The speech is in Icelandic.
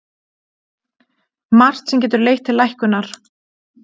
Margt sem getur leitt til lækkunar